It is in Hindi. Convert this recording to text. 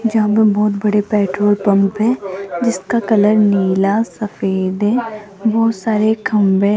जहां पे बहोत बड़े पेट्रोल पंप है जिसका कलर नीला सफेद है बहुत सारे खंभे हैं।